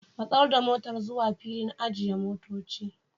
Matsar da motar zuwa filin ajiye motoci.